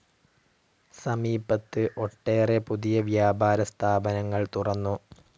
സമീപത്ത്‌ ഒട്ടേറെ പുതിയ വ്യാപാര സ്ഥാപനങ്ങൾ തുറന്നു.